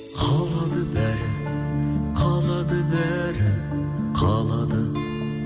қалады бәрі қалады бәрі қалады